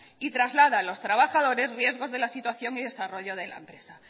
y traslada a los trabajadores riesgos de la situación y desarrollo de la empresa